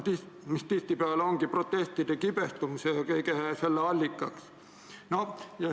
See tihtipeale ongi protestide, kibestumise ja kõige selle allikaks.